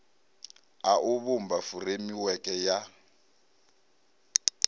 a u vhumba furemiweke ya